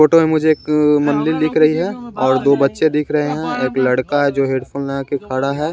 Photo में मुझे एक अ दिख रही है और दो बच्चे दिख रहे हैं एक लड़का है जो हेडफोन लगा के खड़ा है।